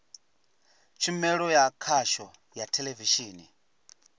tshumelo ya khasho ya theḽevishini